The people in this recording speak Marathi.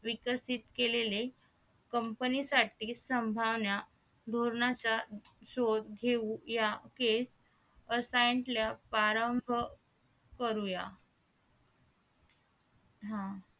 विकसित केलेलं Company साठी संभावनाधोरणाचा शोध घेऊ या केट करूया